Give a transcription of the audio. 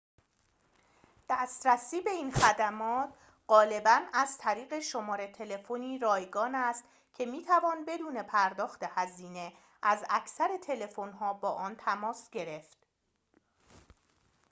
دسترسی به این خدمات غالباً از طریق شماره تلفنی رایگان است که می‌توان بدون پرداخت هزینه از اکثر تلفن‌ها با آن تماس گرفت